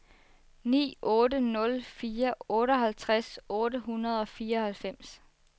ni otte nul fire otteoghalvtreds otte hundrede og fireoghalvfems